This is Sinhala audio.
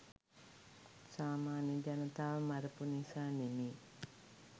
සාමාන්‍ය ජනතාව මරපු නිසා නෙමෙයි.